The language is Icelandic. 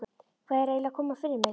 Hvað er eiginlega að koma fyrir mig?